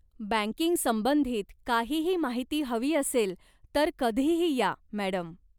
बँकिंगसंबंधित काहीही माहिती हवी असेल तर कधीही या, मॅडम.